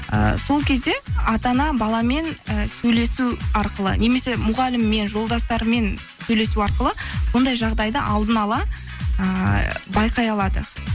ыыы сол кезде ата ана баламен і сөйлесу арқылы немесе мұғаліммен жолдастарымен сөйлесу арқылы бұндай жағдайды алдын ала ыыы байқай алады